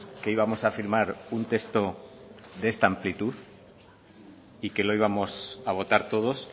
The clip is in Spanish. que íbamos a firmar un texto de esta amplitud y que lo íbamos a votar todos